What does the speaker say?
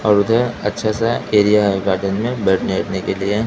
और उधर अच्छा सा एरिया है गार्डेन में बैठने वैठने के लिए।